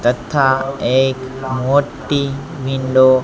તથા એક મોટી વિન્ડો --